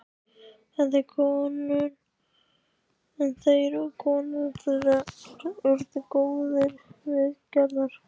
En þeir og konur þeirra urðu góðir vinir Gerðar.